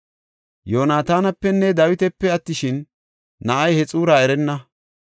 Yoonatanapenne Dawitape attishin, na7ay he xuura erenna.